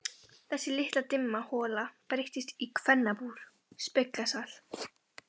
Þessi litla dimma hola breyttist í kvennabúr, speglasal.